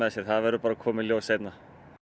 sér það verður bara að koma í ljós seinna